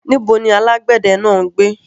Níbo ni alágbẹ̀dẹ náà ń gbé?